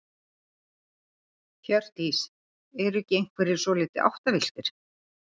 Hjördís: Eru ekki einhverjir svolítið áttavilltir?